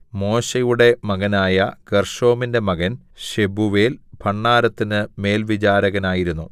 മോശെയുടെ മകനായ ഗേർശോമിന്റെ മകൻ ശെബൂവേൽ ഭണ്ഡാരത്തിന് മേൽവിചാരകനായിരുന്നു